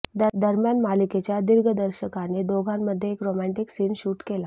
दरम्यान मालिकेच्या दिग्दर्शकाने दोघांमध्ये एक रोमँटिक सीन शूट केला